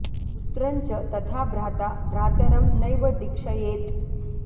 न पुत्रं च तथा भ्राता भ्रातरं नैव दीक्षयेत्